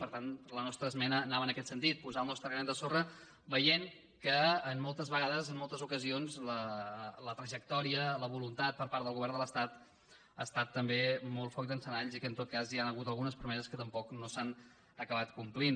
per tant la nostra esmena anava en aquest sentit posar hi el nostre granet de sorra veient que moltes vegades en moltes ocasions la trajectòria la voluntat per part del govern de l’estat ha estat també molt foc d’encenalls i que en tot cas hi han hagut algunes promeses que tampoc no s’han acabat complint